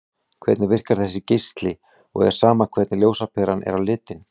Hvernig virkar þessi geisli og er sama hvernig ljósaperan er á litinn?